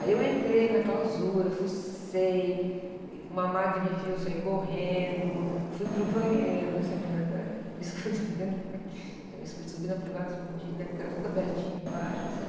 Aí eu entrei na clausura, fuçei, uma madre me viu, eu saí correndo, fui para o banheiro, disso eu me lembro até hoje, me escondi, eu me escondi, subi na privada, escondi, né? Porque era tudo abertinho embaixo, assim.